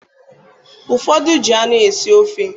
Ụfọdị ji anụ esi ofe